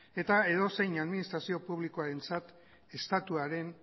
eta edozein administrazio publikoarentzat estatuaren